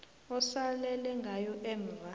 osalele ngayo emva